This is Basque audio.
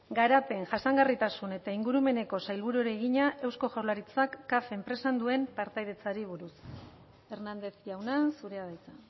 garapen jasangarritasun eta ingurumeneko sailburuari egina eusko jaurlaritzak caf enpresan duen partaidetzari buruz hernández jauna zurea da hitza